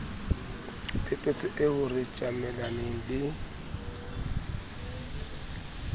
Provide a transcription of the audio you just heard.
phephetso eo re tjamelaneng le